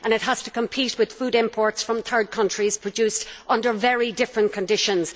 It has to compete with food imports from third countries produced under very different conditions.